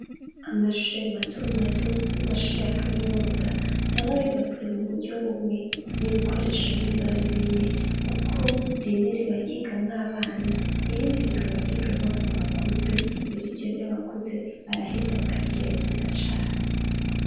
Amashuri matomato, n'amashuri ya kaminuza ntaba yubatswe mu buryo bumwe n'ibikoresho ntibiba ari bimwe kuko rimwe riba ry’igamwo abana irindi rikaba ry’igamwo abantu bakuze rero iryo ry’abakuze baraheza bakarigira ryiza cane.